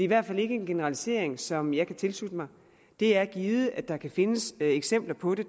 hvert fald ikke en generalisering som jeg kan tilslutte mig det er givet at der kan findes eksempler på det